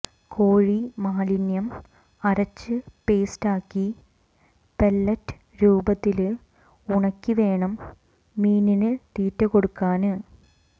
കോഴിമാലിന്യം അരച്ച് പേസ്റ്റാക്കി പെല്ലറ്റ് രൂപത്തില് ഉണക്കി വേണം മീനിന് തീറ്റ കൊടുക്കാന്